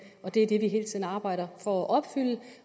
og det er det vi hele tiden arbejder for at opfylde